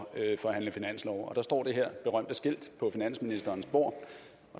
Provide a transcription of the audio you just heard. forhandle finanslov der står det her berømte skilt på finansministerens bord